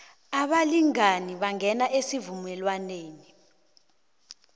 abalingani bangena esivumelwaneni